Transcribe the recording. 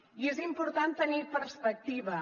i és important tenir perspectiva